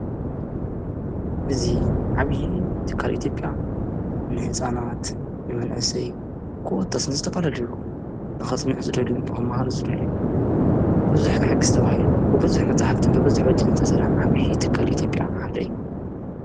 እዙ ዓብዪ ትካል ኢቲብያ ንሕፃናት ንመንእሰይ ክወታስን ዝተፋለልይሩ ንኸጽምዕ ዝደል መህር ዝደልን ብዙኅ ከሕጊሥተብሂሉ ብብዙኅ መጻሕፍትን በብዝኅ ወጭ ነተሠራ ዓብዪ ትካል ኢቲጴያ ሓደዩ።